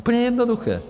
Úplně jednoduché.